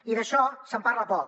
i d’això se’n parla poc